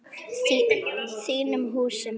Þínum húsum?